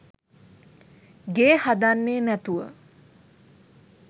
ගේ හදන්නේ නැතුව.